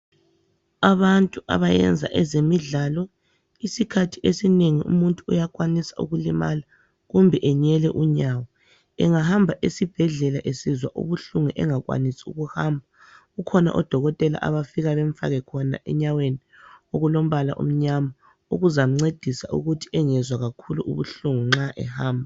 Abantu abayenza ezemidlalo isikhathi esinengi umuntu uyakwanisa ukulimala kumbe enyele unyawo engahamba esibhedlela esizwa ubuhlungu engakwanisi ukuhamba kukhona odokotela abafika bemfake khona enyaweni okulombala omnyama okuzamncedisa ukuthi engezwa kakhulu ubuhlungu nxa ehamba.